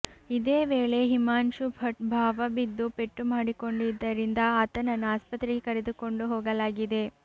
ಇದೇ ವೇಳೆ ಹಿಮಾಂಶು ಭಟ್ ಭಾವ ಬಿದ್ದು ಪೆಟ್ಟು ಮಾಡಿಕೊಂಡಿದ್ದರಿಂದ ಆತನನ್ನು ಆಸ್ಪತ್ರೆಗೆ ಕರೆದುಕೊಂಡು ಹೋಗಲಾಗಿದೆ